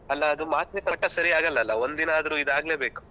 ಅಲ್ಲ ಅದು ಮಾತ್ರೆ correct ಆಗ್ ಸರಿಯಾಗಲ್ಲ ಅಲಾ ಒಂದು ದಿನ ಆದರು ಇದು ಆಗ್ಲೇಬೇಕು.